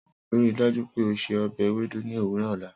Rii daju pe o se ọbẹ Ewedu ni owurọ ọla.